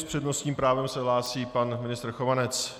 S přednostním právem se hlásí pan ministr Chovanec.